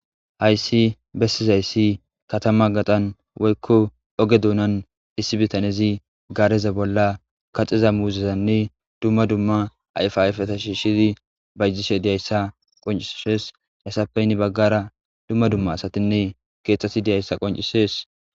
hayssi bessizayssi katama gaxan woykko oge duunan issi bitanezi gaareza bolla kaxiza muuzezanne dumma dumma ayfayfata shiishidi bayjishe deyayssa qoncisshees hessappeynni baggara dumma dumma asatinne keeththati deyayssa qoncisees